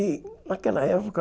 E naquela época...